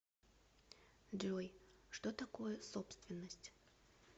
джой что такое собственность